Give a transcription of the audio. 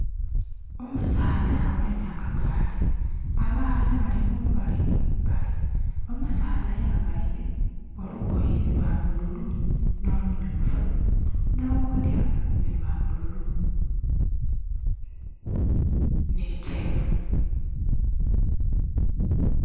Omusaadha agemye akagaali. Abaana bali mumbali ni mumbali. Omusaadha ayambaire olugoye lwa bululu n'olumyufu. N'oghundhi avaire olugoye lwa bululu ni kyenvu.